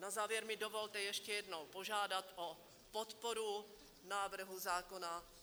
Na závěr mi dovolte ještě jednou požádat o podporu návrhu zákona.